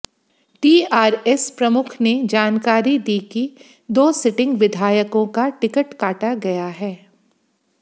TRS प्रमुख ने जानकारी दी कि दो सिटिंग विधायकों का टिकट काटा गया है